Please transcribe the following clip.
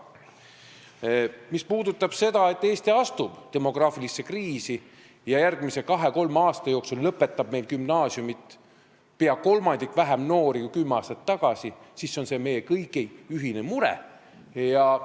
Mis puudutab seda, et Eesti astub demograafilisse kriisi ja järgmise kahe-kolme aasta jooksul lõpetab meil gümnaasiumi pea kolmandiku võrra vähem noori kui kümme aastat tagasi, siis see on meie kõigi ühine mure.